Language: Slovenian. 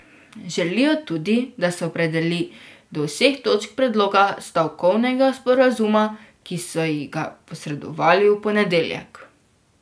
Želijo tudi, da se opredeli do vseh točk predloga stavkovnega sporazuma, ki so ji ga posredovali v ponedeljek.